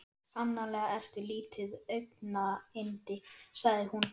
Sannarlega ertu lítið augnayndi sagði hún.